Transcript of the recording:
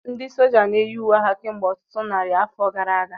Ndị sójá na-eyi uwe agha kemgbe ọtụtụ narị afọ gara aga